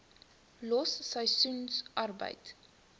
los seisoensarbeid